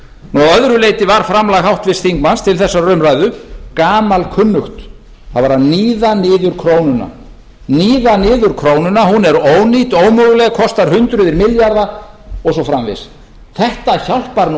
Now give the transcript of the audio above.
að öðru leyti var framlag háttvirts þingmanns til þessarar umræðu gamalkunnugt hann var að níða niður krónuna hún er ónýt og ómöguleg kostar hundruð milljarða og svo framvegis þetta hjálpar nú